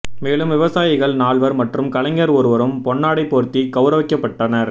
மேலும் விவசாயிகள் நால்வர் மற்றும் கலைஞர் ஒருவரும் பொன்னாடை போர்த்திக் கௌரவிக்கப்பட்டனர்